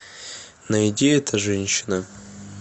найди эта женщина